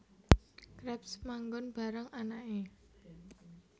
Krabs manggon bareng anake